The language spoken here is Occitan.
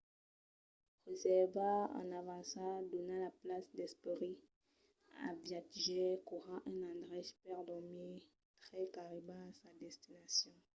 reservar en avança dona la patz d’esperit al viatjaire qu’aurà un endrech per dormir tre qu’arriba a sa destinacion